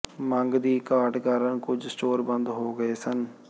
ਮੰਗ ਦੀ ਘਾਟ ਕਾਰਨ ਕੁਝ ਸਟੋਰ ਬੰਦ ਹੋ ਗਏ ਸਨ